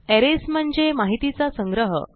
arrays म्हणजे माहितीचा संग्रह